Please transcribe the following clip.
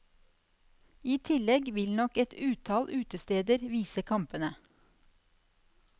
I tillegg vil nok et utall utesteder vise kampene.